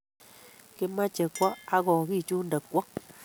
Kimoche kwo ak kigichunde kwo